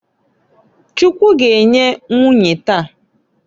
Chukwu g'enye nwunye taa.